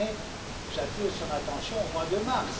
On est j'attire son attention au mois de mars.